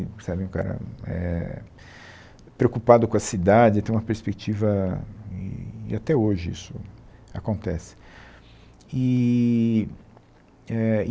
Sabe é um cara eh preocupado com a cidade, tem uma perspectiva... E até hoje isso acontece eee eh